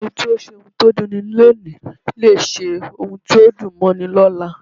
Ẹni tó ṣe ohun tó dunni lóòni lè ṣe ohun tí yóò dùn mọ́ni lọ́la.